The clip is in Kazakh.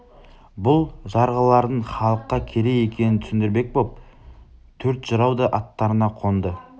бұл жарғылардың халыққа керек екенін түсіндірмек боп төрт жырау да аттарына қонды